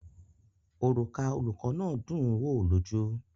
Òrùka olùkọ́ náà dùn ún wo lójú.